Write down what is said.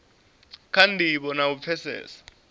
kha ndivho na u pfesesa